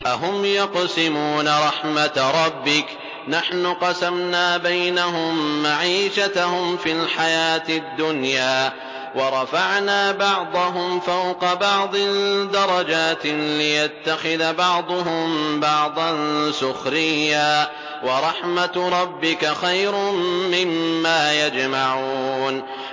أَهُمْ يَقْسِمُونَ رَحْمَتَ رَبِّكَ ۚ نَحْنُ قَسَمْنَا بَيْنَهُم مَّعِيشَتَهُمْ فِي الْحَيَاةِ الدُّنْيَا ۚ وَرَفَعْنَا بَعْضَهُمْ فَوْقَ بَعْضٍ دَرَجَاتٍ لِّيَتَّخِذَ بَعْضُهُم بَعْضًا سُخْرِيًّا ۗ وَرَحْمَتُ رَبِّكَ خَيْرٌ مِّمَّا يَجْمَعُونَ